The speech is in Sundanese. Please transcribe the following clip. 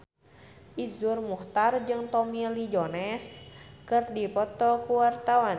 Iszur Muchtar jeung Tommy Lee Jones keur dipoto ku wartawan